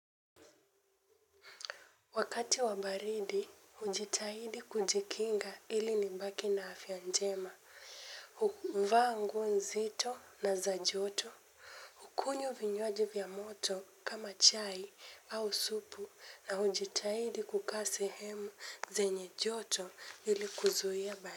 Wakati wa baridi, hujitahidi kujikinga ili nibaki na afya njema, huvaa nguo nzito na za joto, hukunywa vinywaji vya moto kama chai au supu na hujitahidi kukaa sehemu zenye joto ili kuzuia baridi.